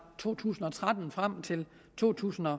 to tusind og tretten og frem til to tusind og